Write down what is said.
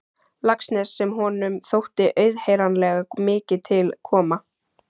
Laxness sem honum þótti auðheyranlega mikið til koma.